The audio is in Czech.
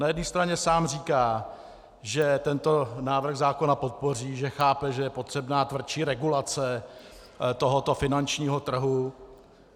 Na jedné straně sám říká, že tento návrh zákona podpoří, že chápe, že je potřebná tvrdší regulace tohoto finančního trhu.